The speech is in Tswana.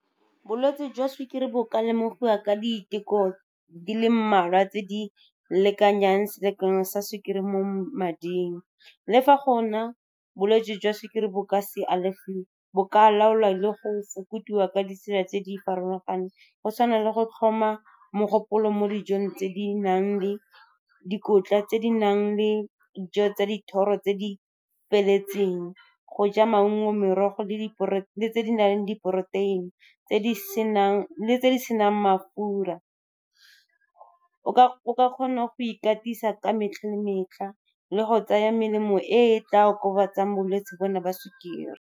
Bolwetse jwa sukiri bo ka lemogiwa ka diteko di le mmalwa tse di lekanyang selekano sa sukiri mo mading. Le fa bolwetse jwa sukiri bo ka se alafiwe, bo ka laolwa le go fokotsiwa ka ditsela tse di farologaneng, go tshwana le go tlhoma mogopolo mo dijong tse di nang le dikotla, tse di nang le dijo tsa dithoro tse di feletseng, go ja maungo, merogo , le tse di nang le diporoteini le tse di senang mafura . O ka kgona go ikatisa ka metlha le metlha le go tsaya melemo e tla okobatsang bolwetsi bona ba sukiri.